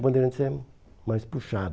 O Bandeirantes é mais puxado.